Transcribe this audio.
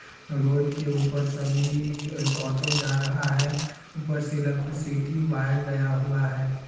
Road के ऊपर सभी एक ऑटो जा रहा है। ऊपर से इलेक्ट्रिसिटी वायर गया हुआ है।